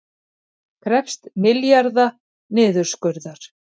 Krefjast milljarða niðurskurðar